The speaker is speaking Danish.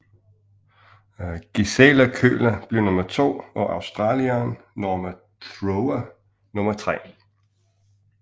Gisela Köhler blev nummer to og australieren Norma Thrower nummer tre